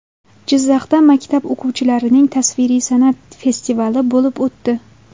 Jizzaxda maktab o‘quvchilarining tasviriy san’at festivali bo‘lib o‘tdi.